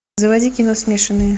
заводи кино смешанные